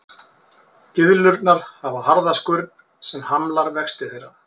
Gyðlurnar hafa harða skurn sem hamlar vexti þeirra.